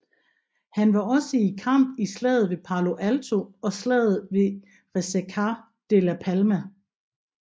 Han var også i kamp i Slaget ved Palo Alto og slaget ved Resaca de la Palma